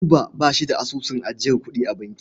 Buba ba shi da asusun ajiyar kuɗi a banki.